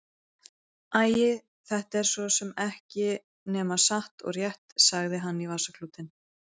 Æi, þetta er svo sem ekki nema satt og rétt, sagði hann í vasaklútinn.